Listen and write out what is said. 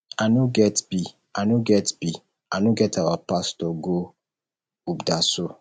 i no get be i get be i no get our pastor go ubderso